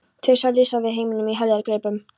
Tveir risar með heiminn í heljargreipum.